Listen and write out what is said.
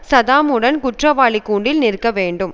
சதாமுடன் குற்றவாளிக் கூண்டில் நிற்க வேண்டும்